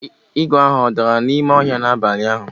igwe ahụ o dara n'ime ọhịa n'abalị ụnyaahụ?